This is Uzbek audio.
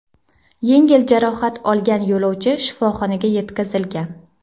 Yengil jarohat olgan yo‘lovchi shifoxonaga yetkazilgan.